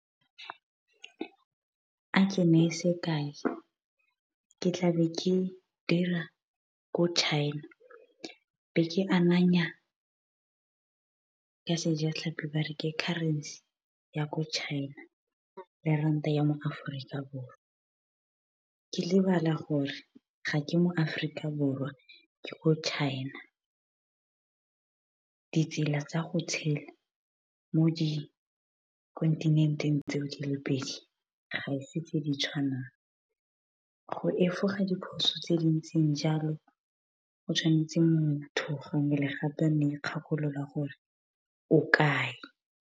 A ke neye sekai ke tlabe ke dira ko China, be ke ananya ka Sejatlhapi ba re ke currency ya ko China le ranta ya mo Aforika Borwa. Ke lebala gore ga ke mo Aforika Borwa ke ko China. Ditsela tsa go tshela mo di kontinenteng tseo di le pedi, ga se tse di tshwanang. Go efoga diphoso tse dintseng jalo go tshwanetse motho gangwe le gape o ne ikgakolola gore o kae.